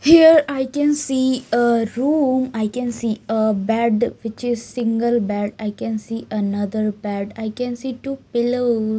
Here I can see a room I can see a bed which is single bed I can see another bed I can see two pillows.